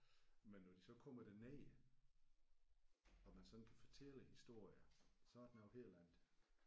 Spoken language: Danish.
Men når de så kommer derned og man sådan kan fortælle historier så er det noget helt andet